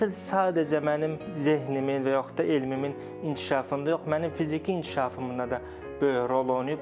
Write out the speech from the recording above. Təhsil sadəcə mənim zehnimin və yaxud da elmimin inkişafında yox, mənim fiziki inkişafımda da böyük rol oynayıb.